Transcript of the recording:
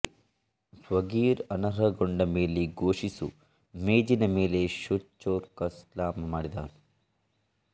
swagger ಅನರ್ಹಗೊಂಡ ಮೇಲೆ ಘೋಷಿಸು ಮೇಜಿನ ಮೇಲೆ ಶೊ ಚೋಕ್ ಸ್ಲಾಮ್ ಮಾಡಿದನು